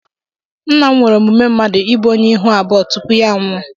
Nna m nwere omume mmadụ ịbụ onye ihu abụọ tupu ya anwụọ.